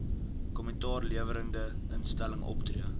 kommentaarlewerende instelling optree